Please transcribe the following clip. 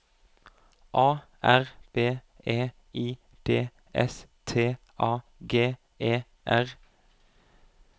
A R B E I D S T A G E R